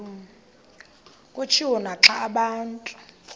kutshiwo naxa abantu